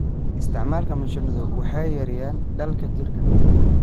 Isticmaalka mashiinadu waxay yareeyaan daalka jirka.